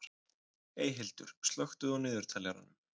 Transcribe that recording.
Eyhildur, slökktu á niðurteljaranum.